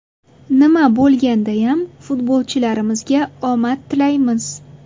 Nima bo‘lgandayam futbolchilarimizga omad tilaymiz!